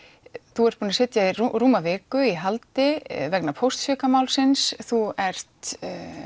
þú ert búin að sitja í rúma viku í haldi vegna þú ert